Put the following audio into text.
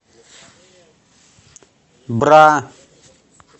бра